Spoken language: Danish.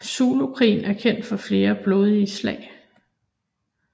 Zulukrigen er kendt for flere blodige slag